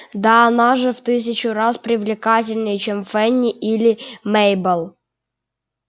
да она же в тысячу раз привлекательней чем фэнни или мейбелл